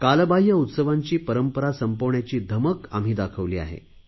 कालबाहय उत्सवांची परंपरा संपविण्याची धमक आम्ही दाखविली आहे